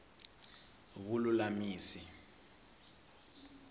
vululamisi